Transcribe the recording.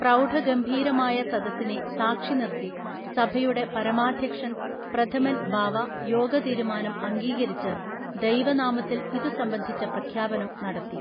പ്രൗഢ ഗംഭീരമായ സദസ്സിനെ സാക്ഷി നിർത്തി സഭയുടെ പരമാധ്യക്ഷൻ പ്രഥമൻ ബാവ യോഗ തീരുമാനം അംഗീകരിച്ച് ദൈവ നാമത്തിൽ ഇതു സംബന്ധിച്ച പ്രഖ്യാപനം നടത്തി